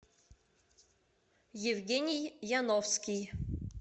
евгений яновский